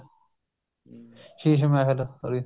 Sheesh Mahal sorry